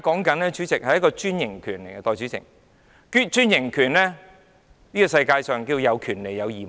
代理主席，我們現在討論的是專營權，這個世界有權利便有義務。